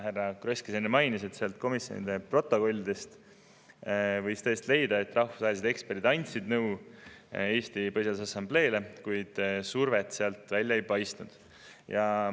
Härra Kross ka enne mainis, et komisjonide protokollidest võis tõesti leida, et rahvusvahelised eksperdid andsid Eesti Põhiseaduse Assambleele nõu, kuid survestamist sealt välja ei paistnud.